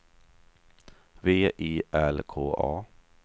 V I L K A